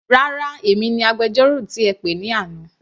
Rárá, èmi ni agbẹjọ́rò tí ẹ pè ní àná.